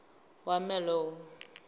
warmelo